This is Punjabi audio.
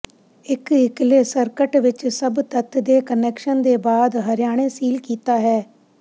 ਇੱਕ ਇੱਕਲੇ ਸਰਕਟ ਵਿੱਚ ਸਭ ਤੱਤ ਦੇ ਕੁਨੈਕਸ਼ਨ ਦੇ ਬਾਅਦ ਹਰਿਆਣੇ ਸੀਲ ਕੀਤਾ ਹੈ